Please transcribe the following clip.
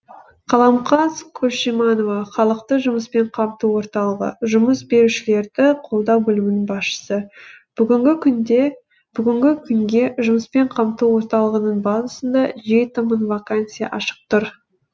қаламқас күлшиманова халықты жұмыспен қамту орталығы жұмыс берушілерді қолдау бөлімінің басшысы бүгінгі күнге жұмыспен қамту орталығының базасында жеті мың вакансия ашық тұр